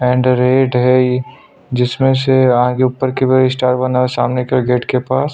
and red है ये जिसमें से आगे ऊपर के पास स्टार बना है सामने के गेट के पास --